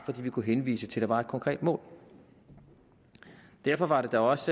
at vi kunne henvise til at der var et konkret mål derfor var det da også